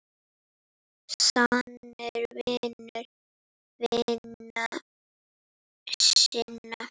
Sannur vinur vina sinna.